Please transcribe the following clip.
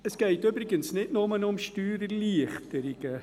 Es geht übrigens nicht nur um Steuererleichterungen;